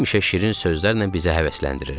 Həmişə şirin sözlərlə bizi həvəsləndirirdi.